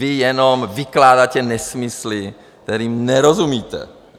Vy jenom vykládáte nesmysly, kterým nerozumíte.